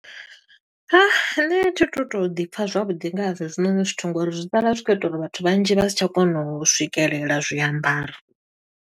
Nṋe thi tu to ḓi pfa zwavhuḓi ngazwo hezwinoni zwithu ngo uri zwi sala zwi khou ita uri vhathu vhanzhi vha si tsha kona u swikelela zwiambaro.